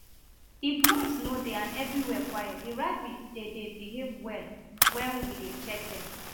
if noise no dey and everywhere quiet the rabbits dem dey behave well wen we dey check dem